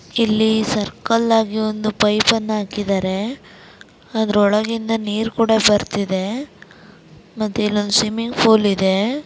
ಇಲ್ಲಿ ಸರ್ಕಲ್ ಆಗಿ ಒಂದು ಪೈಪ್ ನ್ನು ಹಾಕಿದ್ದರೆ ಅದರ ಒಳಗಿಂದ ನೀರ್ ಕೂಡ ಬರ್ತಿದೆ ಮತ್ತೆ ಇಲ್ಲಿ ಒಂದು ಸ್ವಿಮ್ಮಿಂಗ್ ಪೂಲ್ ಇದೆ.